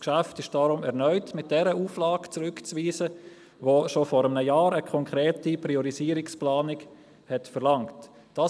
Das Geschäft ist deshalb erneut mit der Auflage zurückzuweisen, die schon vor einem Jahr eine konkrete Priorisierungsplanung verlangt hat.